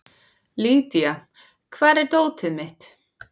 Lydia, hvar er dótið mitt?